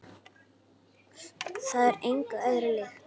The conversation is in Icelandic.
Það er engu öðru líkt.